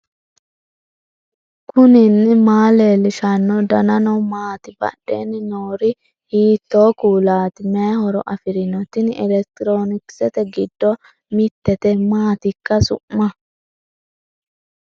knuni maa leellishanno ? danano maati ? badheenni noori hiitto kuulaati ? mayi horo afirino ? tini elekitiroonikisete gidddo mittete maatikka su'ma